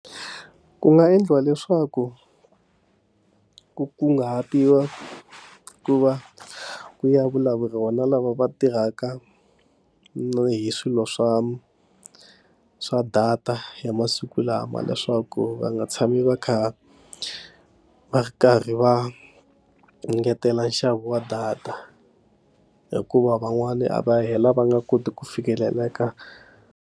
Ku nga endliwa leswaku ku kunguhatiwa ku va ku ya vulavula rona lava va tirhaka hi swilo swa swa data ya masiku lama leswaku va nga tshami va kha va karhi va engetela nxavo wa data hikuva van'wani a va hela va nga koti ku fikeleleka.